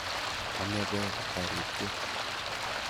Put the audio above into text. Ame beg taritiet